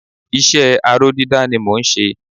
iṣẹ́ aró dídá ni mọ n ṣe